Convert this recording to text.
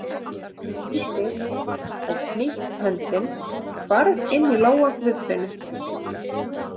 Lítil og hnýtt höndin hvarf inn í lófa Guðfinnu.